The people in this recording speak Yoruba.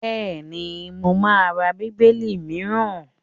Bẹ́ẹ̀ni, mo má ra Bíbélì mìíràn.